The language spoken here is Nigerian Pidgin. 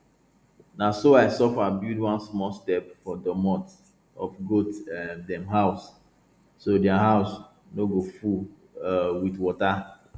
na so i suffer build one small step for doormot of goat um dem house so their hose no go full um with water